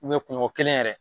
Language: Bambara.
U bɛ kuŋo kelen yɛrɛ